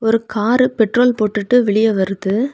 ஒரு car petrol போட்டுட்டு வெளிய வருது.